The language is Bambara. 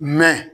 Mɛ